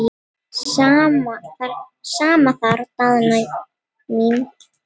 Sama þar Daðína mín.